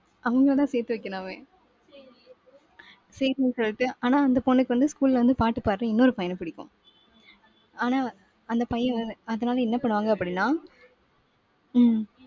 அவங்களைதான், சேர்த்து வைக்கணும் அவன். சரின்னு சொல்லிட்டு ஆனா அந்த பொண்ணுக்கு வந்து school ல வந்து பாட்டு பாடுற இன்னொரு பையன பிடிக்கும். ஆனா வ~ அந்த பையன் வந்து அதனால என்ன பண்ணுவாங்க அப்படின்னா உம்